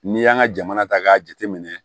N'i y'an ka jamana ta k'a jateminɛ